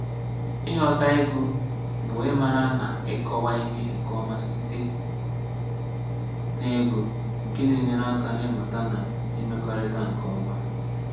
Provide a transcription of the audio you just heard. Ị̀ghọtà ị̀gụ̀ bụ̀ ị̀màrà nà ị̀kọ̀wà̀ ihè nkè ọmà sitè nà ị̀gụ̀, nkè nà-enyèrè akà n’ị̀mụ̀tà̀ nà imekọ̀rị̀tà̀ nkè ọmà